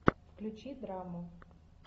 включи драму